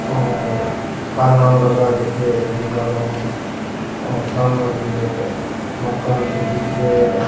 ओर कान नाल लगा राख्यो है और सामने भी एक मकान सो दिख रो है।